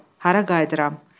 Hara qayıdıram?